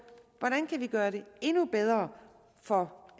hvordan vi kan gøre det endnu bedre for